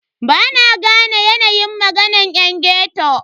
Bana gane yanayin maganan yan ghetto.